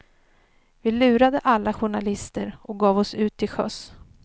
Vi lurade alla journalister och gav oss ut till sjöss.